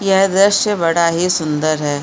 यह द्रश्य बड़ा ही सुन्दर है।